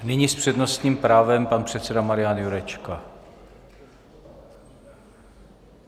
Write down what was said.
Nyní s přednostním právem pan předseda Marian Jurečka.